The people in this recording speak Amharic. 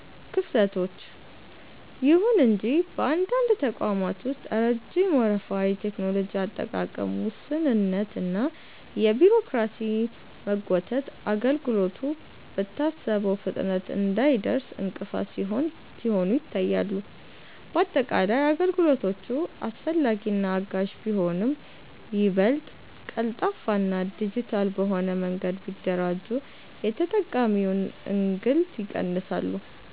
ክፍተቶች፦ ይሁን እንጂ በአንዳንድ ተቋማት ውስጥ ረጅም ወረፋ፣ የቴክኖሎጂ አጠቃቀም ውስንነት እና የቢሮክራሲ መጓተት አገልግሎቱ በታሰበው ፍጥነት እንዳይደርስ እንቅፋት ሲሆኑ ይታያሉ። ባጠቃላይ፣ አገልግሎቶቹ አስፈላጊና አጋዥ ቢሆኑም፣ ይበልጥ ቀልጣፋና ዲጂታል በሆነ መንገድ ቢደራጁ የተጠቃሚውን እንግልት ይቀንሳሉ።